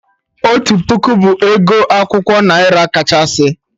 Otu puku bụ ego akwụkwọ naira kachasị